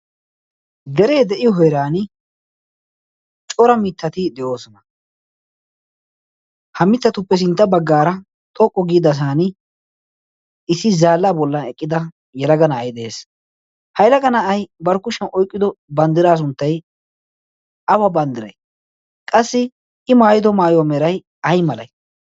deree de'iyo heeran cora mittati de'oosona ha mittatuppe sintta baggaara xoqqu giidasan issi zaallaa bollan eqqida yalaga na'ai de'ees. hailaga nayai barkkushiyan oyqqido banddiraa sunttai awa banddirai qassi i maayido maayo merai ay malatii?